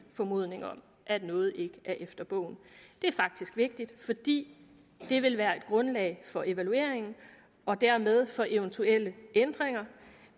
formodning om at noget ikke er efter bogen det er faktisk vigtigt ikke bare fordi det vil være et grundlag for evalueringen og dermed for eventuelle ændringer